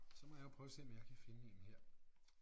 Så må jeg jo prøve at se om jeg kan finde én her